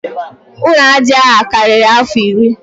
Ụlọ aja a karịrị afọ iri